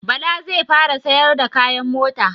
Bala zai fara siyar da kayan mota